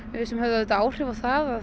sem höfðu áhrif á það að